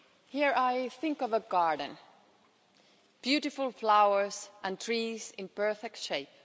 Here I think of a garden beautiful flowers and trees in perfect shape.